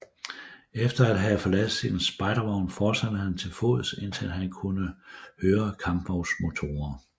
Efter at have forladt sin spejdervogn fortsatte han til fods indtil han kunne høre kampvognsmotorer